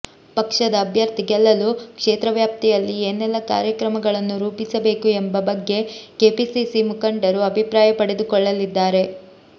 ಪಕ್ಷದ ಅಭ್ಯರ್ಥಿ ಗೆಲ್ಲಲು ಕ್ಷೇತ್ರ ವ್ಯಾಪ್ತಿಯಲ್ಲಿ ಏನೆಲ್ಲ ಕಾರ್ಯಕ್ರಮಗಳನ್ನು ರೂಪಿಸಬೇಕು ಎಂಬ ಬಗ್ಗೆ ಕೆಪಿಸಿಸಿ ಮುಖಂಡರು ಅಭಿಪ್ರಾಯ ಪಡೆದುಕೊಳ್ಳಲಿದ್ದಾರೆ